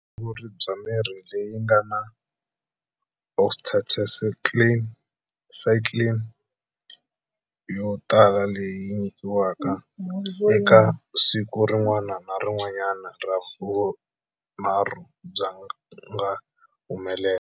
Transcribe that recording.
Vutshunguri bya mirhi leyi nga na oxytetracycline yo tala leyi nyikiwaka eka siku rin'wana na rin'wanyana ra vunharhu byi nga humelela.